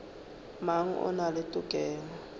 mang o na le tokelo